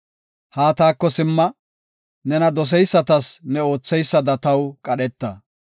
Haa taako simma; nena doseysatas ne ootheysada taw qadheta.